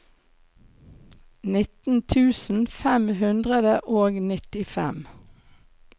nitten tusen fem hundre og nittifem